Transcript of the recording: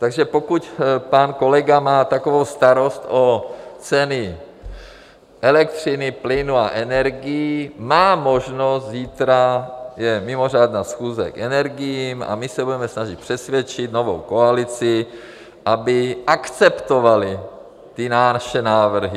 Takže pokud pan kolega má takovou starost o ceny elektřiny, plynu a energií, má možnost, zítra je mimořádná schůze k energiím a my se budeme snažit přesvědčit novou koalici, aby akceptovali ty naše návrhy.